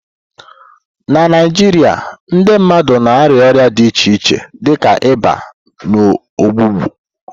Na Naijiria, ndị mmadụ na-arịa ọrịa dị iche iche dịka ịba na ọgbụgbọ.